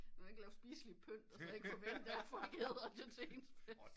Man kan ikke lave spiseligt pynt og så ikke forvente folk æder det til ens fest